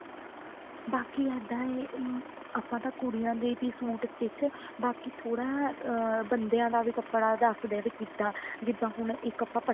ਬਾਕੀ ਇੱਦਾਂ ਹੈ ਆਪਾਂ ਤਾਂ ਕੁੜੀਆਂ ਦੇ ਵੀ suit stich ਕਿ ਥੋੜਾ ਅਹ ਬੰਦਿਆ ਦਾ ਵੀ ਕੱਪੜਾ ਰੱਖਦੇ ਆ ਵੀ ਕਿੱਦਾਂ ਜਿੱਦਾਂ ਹੁਣ ਇੱਕ ਆਪਾਂ